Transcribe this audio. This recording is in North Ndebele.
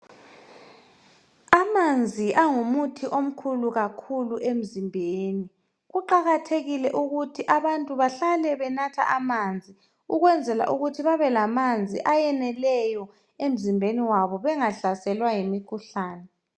Amanzi angumuthi omkhulu kakhulu emzimbeni. Kuqakathekile ukuthi abantu bahlale benatha amanzi ukwenzela ukuthi babe lamanzi ayeneleyo emizimbeni yabo, bengahlaselwa yimikhuhlane.